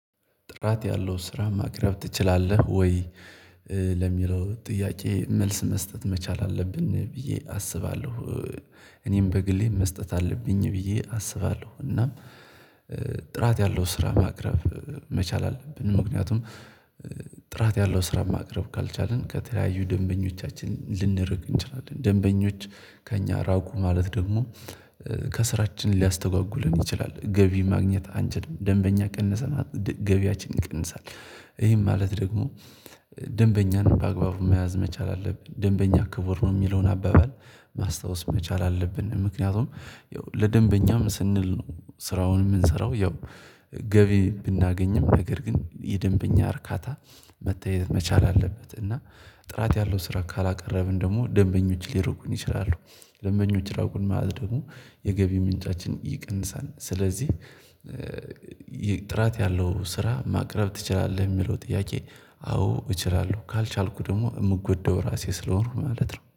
ጥራት ያለው ስራ ማቅረብ ትችላለህ ወይ? ለሚለው ጥያቄ መልስ መስጠት መቻል አለብን ብዬ አስባለሁ። እኔም በግሌም መስጠት አለብኝ ብዬ አስባለሁ። እናም ጥራት ያለው ስራ ማቅረብ መቻል አለብን። ምክንያቱም ጥራት ያለው ስራ ማቅረብ ካልቻልን ከተለያዩ ደንበኞቻችን ልንርቅ እንችላለን ደንበኞች ከእኛ ራቁ ማለት ደግሞ ከስራችን ሊያስተጓጉለን ይችላል። ገቢ ማግኘት አንችልም ደንበኛ ቀነሰማለት ገቢያችን ይቀንሳል። ይሄም ማለት ደግሞ ደንበኛን በአግባቡ መያዝ መቻል አለብን። ደንበኛ ክቡር ነው የሚለውን አባባል ማስታወስ መቻል አለብን። ምክንያቱም ያው ለደንበኛም ስንል ነው ስራውን የምንሰራው። ያው ገቢ ብናገኝም ነገር ግን የደንበኛ እርካታ መተየት መቻል አለበት። እና ጥራት ያለው ስራ ካላቀረብን ደግሞ ደንበኞች ሊርቁን ይችላሉ። ደንበኞች ራቁን ማለት ደግሞ የገቢ ምንጫችን ይቀንሳል። ስለዚህ ጥራት ያለው ስራ ማቅረብ ትችላለህ የሚለው ጥያቄ? አዎ እችላለሁ ካልቻልኩ ደግሞ የምጎዳው ራሴ ስለሆኑ ማለት ነው